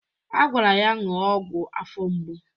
A gwara ya ṅụọ ọgwụ afọ mgbu